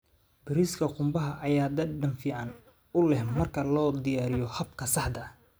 Bariiska qumbaha ayaa dhadhan fiican u leh marka loo diyaariyo habka saxda ah.